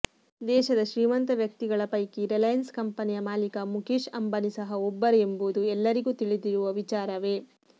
ದೇಶದ ಶ್ರೀಮಂತ ವ್ಯಕ್ತಿಗಳ ಪೈಕಿ ರಿಲಯನ್ಸ್ ಕಂಪನಿಯ ಮಾಲೀಕ ಮುಖೇಶ್ ಅಂಬಾನಿ ಸಹ ಒಬ್ಬರು ಎಂಬುದು ಎಲ್ಲರಿಗೂ ತಿಳಿದಿರುವ ವಿಚಾರವೇ